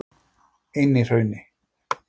Einihrauni